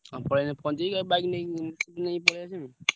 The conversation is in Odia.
ହଁ ପଳେଇଲେ ପହଁଞ୍ଚିବି ଆଉ bike ନେଇ ନେଇ ପଳେଇଆସିବି।